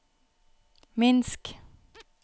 minsk